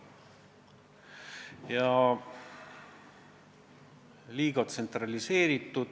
Kas see on liiga tsentraliseeritud?